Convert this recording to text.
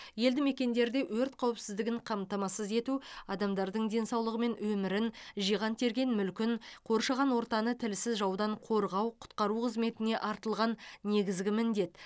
елді мекендерде өрт қауіпсіздігін қамтамасыз ету адамдардың денсаулығы мен өмірін жиған терген мүлкін қоршаған ортаны тілсіз жаудан қорғау құтқару қызметіне артылған негізгі міндет